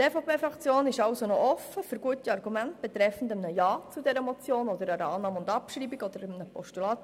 Die EVPFraktion ist also noch offen für gute Argumente betreffend einem Ja zu dieser Motion oder einer Annahme und Abschreibung oder einem Postulat.